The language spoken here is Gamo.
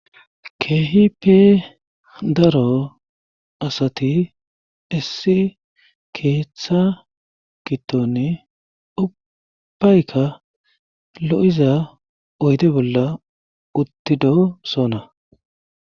keeehi pe daro asati issi keeththa gittoni ubbayka lo7iza oyde bolla uttido sona